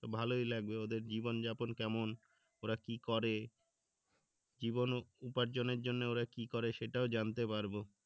তো ভালোই লাগবে ওদের জীবনযাপন কেমন ওরা কি করে উপার্জনের জন্য ওরা কি করে সেটাও জানতে পারবো